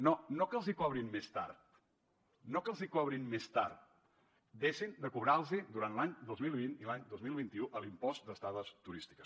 no no que els hi cobrin més tard no que els hi cobrin més tard deixin de cobrar los el durant l’any dos mil vint i l’any dos mil vint u l’impost d’estades turístiques